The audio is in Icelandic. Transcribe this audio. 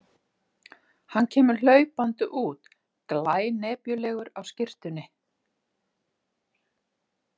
Hann kemur hlaupandi út, glænepjulegur á skyrtunni.